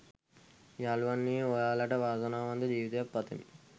යාළුවනේ ඔයාලට වාසනාවන්ත ජීවිතයක් පතමි